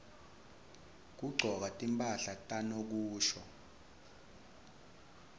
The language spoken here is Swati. kugcoka timphahla tanokusho